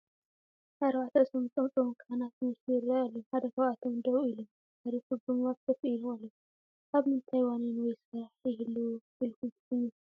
4 ርእሶም ዝጠምጠሙ ካህናት ዝመስሉ ይራኣዩ ኣለው፡፡ ሓደ ካብኣቶም ደው ኢሎም፣ ተረፉ ድማ ኮፍ ኢሎም ኣለው፡፡ ኣብ ምንታይ ዋኒን ወይ ስራሕ ይህልው ኢልኩም ትግምቱ?